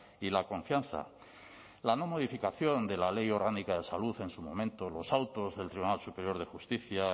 y la confianza la no modificación de la ley orgánica de salud en su momento los autos del tribunal superior de justicia